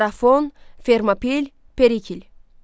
Marafon, Fermopil, Perikl.